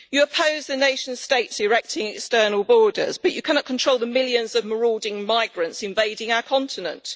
You oppose the nation states erecting external borders, but you cannot control the millions of marauding migrants invading our continent.